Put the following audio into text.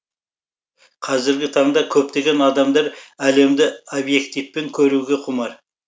қазіргі таңда көптеген адамдар әлемді объективпен көруге құмар